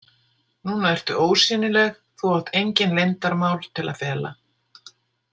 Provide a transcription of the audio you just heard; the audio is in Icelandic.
Núna ertu ósýnileg, þú átt engin leyndarmál til að fela.